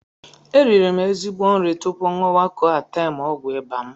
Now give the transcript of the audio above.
E riri m ezigbo nri tupu ṅụwa Koatem ọgwụ ịba m.